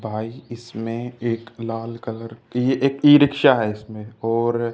भाई इसमें एक लाल कलर की एक ई रिक्शा है इसमें और--